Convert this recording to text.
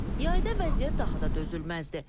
Yayda vəziyyət daha da dözülməzdir.